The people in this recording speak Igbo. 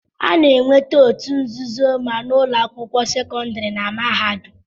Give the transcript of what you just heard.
A na-enweta otu nzuzo ma na ụlọ akwụkwọ sekọndiri na mahadum.